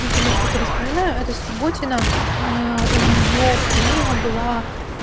например который вспоминаю это субботина у нее книга была